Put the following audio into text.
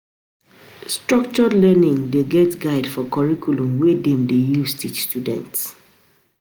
structured learning de get guide or curriculum wey dem de use teach students